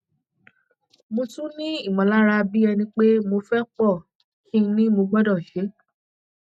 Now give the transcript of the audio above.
mo tún ní ìmọlára bí ẹni pé mo fẹ pọ kí ni mo gbọdọ ṣe